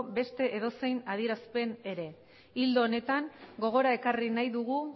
beste edozein adierazpen ere ildo honetan gogora ekarri nahi dugu